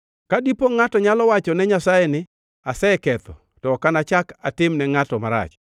“Ka dipo ngʼato nyalo wachone Nyasaye ni, ‘Aseketho to ok anachak atimne ngʼato marach.